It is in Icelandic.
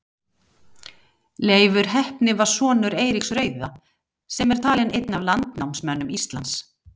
Leifur heppni var sonur Eiríks rauða sem er talinn einn af landnámsmönnum Íslands.